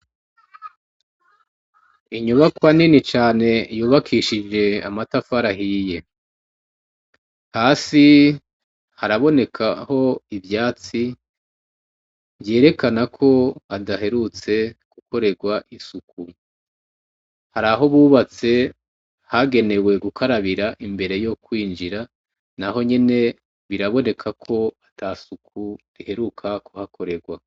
Inyubakwa nini cane yubakishije amatafari ahiye. Hasi, harabonekaho ivyatsi , vyerekana ko hadaherutse rukorerwa isuku. Hariho buratse hagenewe gukarabira imbere yo kwinjira, nahonyene biraboneka ko ata suku riheruka kuhakorerwa.